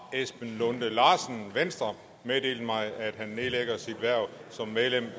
esben lunde larsen venstre meddelt mig at han nedlægger sit hverv som medlem